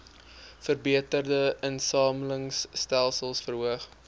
verbeterde insamelingstelsels verhoog